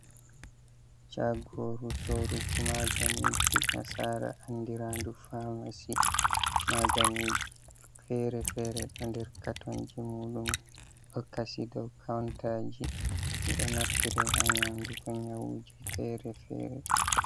Chagoru sorugo maganiji nasara andiraɗu famasi, maganiji fere fere ɗo nder katonji muɗum ɗokasi dow kontaji ɗiɗo naftirai ha nyaundugo nyawuji fere fere.